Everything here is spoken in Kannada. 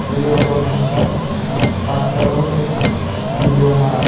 ಇಲ್ಲಿ ಒಬ್ಬ ಮನಸ್ಯಾ ಪಾಸ್ಟಾರ ಅವರ್ದು ವಿಡಿಯೋ ಮಾಡಾತ--